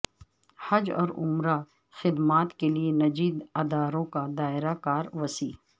حج اور عمرہ خدمات کے لیے نجی اداروں کا دائرہ کار وسیع